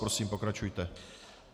Prosím, pokračujte.